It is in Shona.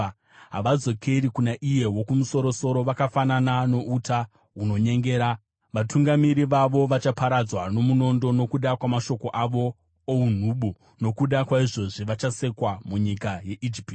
Havadzokeri kuna iye Wokumusoro-soro; vakafanana nouta hunonyengera. Vatungamiri vavo vachaparadzwa nomunondo, nokuda kwamashoko avo ounhubu. Nokuda kwaizvozvi vachasekwa munyika yeIjipiti.